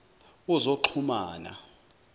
wozoxhumana